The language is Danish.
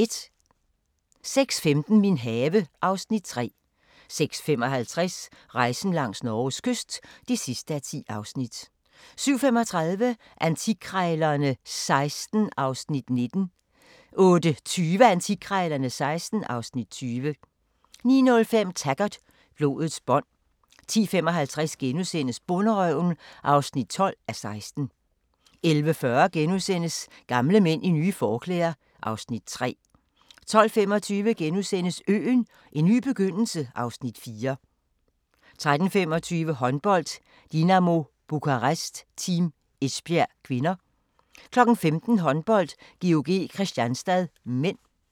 06:15: Min have (Afs. 3) 06:55: Rejsen langs Norges kyst (10:10) 07:35: Antikkrejlerne XVI (Afs. 19) 08:20: Antikkrejlerne XVI (Afs. 20) 09:05: Taggart: Blodets bånd 10:55: Bonderøven (12:16)* 11:40: Gamle mænd i nye forklæder (Afs. 3)* 12:25: Øen - en ny begyndelse (Afs. 4)* 13:25: Håndbold: Dinamo Bukarest-Team Esbjerg (k) 15:00: Håndbold: GOG-Kristianstad (m)